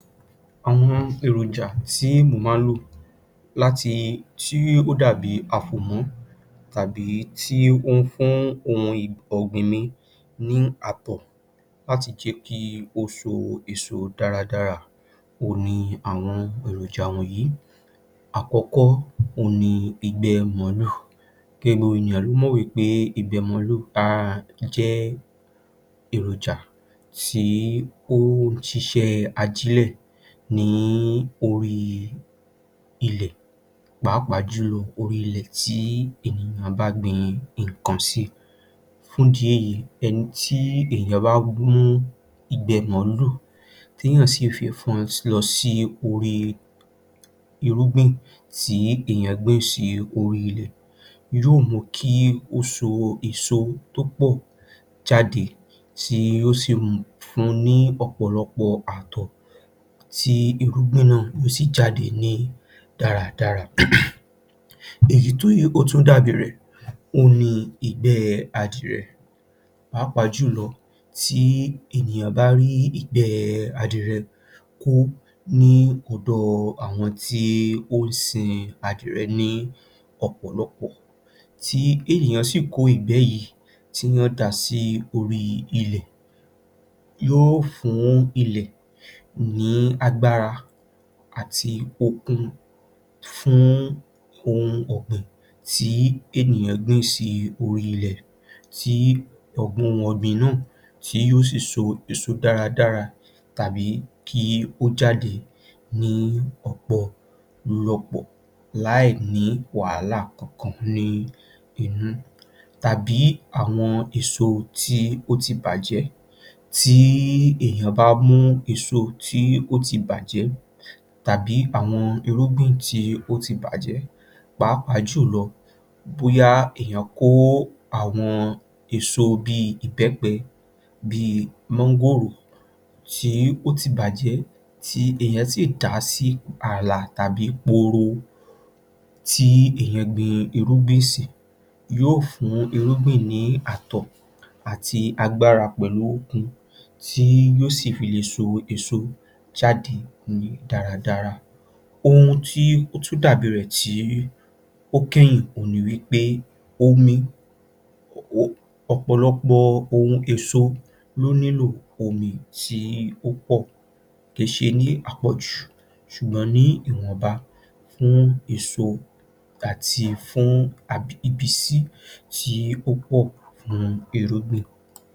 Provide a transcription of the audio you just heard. Àwọn èròjà tí mò má ń ló, láti tí, tí ó dàbí àfòmọ́ tàbí tí ó ń fún ohun ọ̀gbìn mi ní àbọ̀ láti jẹ́ kí ó so dáradára òhun ni àwọn èròjà wọ̀nyí. Àkọ́kọ́, òhun ni ìgbẹ́ mọ̀lúù, gẹ́gẹ́ bí gbogbo ènìyàn ló mọ̀ wí pé ìgbẹ́ mọ̀lúù jẹ́ èròjà tí ó ń ṣiṣẹ́ ajílẹ̀ ní orí ilẹ̀ pàápàá jù lọ orí ilẹ̀ tí ènìyàn bá gbin nǹkan sí, fún ìdí èyí ẹni tí èèyàn bá mú ìgbẹ́ mọ̀lúù téèyàn sì mú lọ sí orí irúgbìn tí èèyàn gbìn sórí ilẹ̀ yóò mu kí ó so èso tó pọ̀ jáde tí yóò sì sì fún ni ọ̀pọ̀lọpọ̀ àtọ̀ tí irúgbìn náà yóò sì jáde ní dáradára um. Èyí tí ó tún dàbí rẹ̀ ni ìgbẹ́ adìrẹ, pàápàá jù lọ, tí ènìyàn bá rí ìgbẹ́ adìrẹ kó ní ọ̀dọ̀ àwọn tí ó ń sin adìrẹ ní ọ̀pọ̀lọpọ̀ tí ènìyàn sì kó ìgbẹ́ yìí tí èèyàn dà á sí orí ilẹ̀, yóò fún ilẹ̀ ní agbára àti okun fún ohun ọ̀gbìn tí ènìyàn gbìn sí orí ilẹ̀ tí ohun ọ̀gbìn náà tí yóò sì so èso dáradára tàbí kí ó jáde ní ọ̀pọ̀lọpọ̀ láì ní wàhálà kankan ní inú tàbí àwọn èso tí ó ti bàjẹ́, tí èèyàn bá mú èso tó ti bàjẹ́ tàbí àwọn irúgbìn tí ó ti bàjẹ́ pàápàá jù lọ bóyá èèyàn kó àwọn èso bí i ìbẹ́pẹ, bí i mọ́ngòrò tí ó ti bàjẹ́ tí èèyàn sì dà á sí ààlà tàbí pooro tí èèyàn gbin irúgbìn sí yóò fún irúgbìn ní àtọ̀ àti agbára pẹ̀lú okun tí yóò sì fi lè so èso jáde ní dáradára. Ohun tí ó tún dàbí rẹ̀ tí ó kẹ́yìn, omi, ọ̀pọ̀lọpọ̀ ohun èso ló nílò omi tí ó pọ̀, kì í ṣe ní àpọ̀jù ṣùgbọ́n ní ìwọ̀nba fún èso àti fún ìbísí tí ó pọ̀ fún irúgbìn